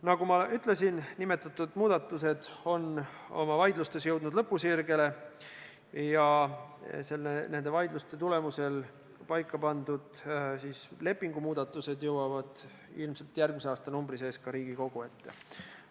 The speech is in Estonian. Nagu ma ütlesin, nimetatud muudatused on oma vaidlustes jõudnud lõpusirgele ja nende vaidluste tulemusel paika pandud lepingumuudatused jõuvad ilmselt järgmise aastanumbri sees ka Riigikogu ette.